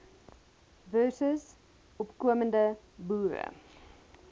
versus opkomende boere